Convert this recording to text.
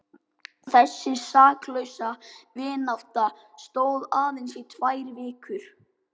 Þessi saklausa vinátta stóð aðeins í tvær vikur.